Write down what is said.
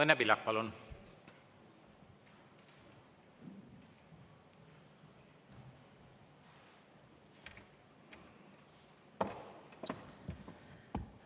Õnne Pillak, palun!